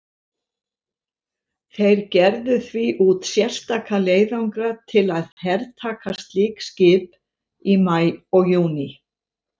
Þeir gerðu því út sérstaka leiðangra til að hertaka slík skip í maí og júní.